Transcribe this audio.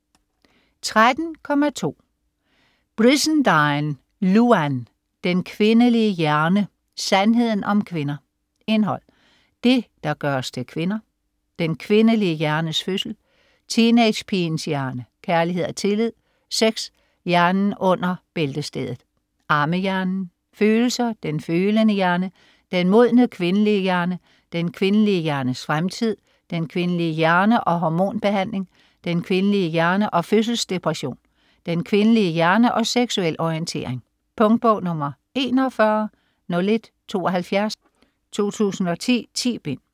13.2 Brizendine, Louann: Den kvindelige hjerne: sandheden om kvinder Indhold: Det, der gør os til kvinder; Den kvindelige hjernes fødsel; Teenagepigens hjerne; Kærlighed og tillid; Sex : hjernen under bæltestedet; Ammehjernen; Følelser : den følende hjerne; Den modne kvindelige hjerne; Den kvindelige hjernes fremtid; Den kvindelige hjerne og hormonbehandling; Den kvindelige hjerne og fødselsdepression; Den kvindelige hjerne og seksuel orientering. Punktbog 410172 2010. 10 bind.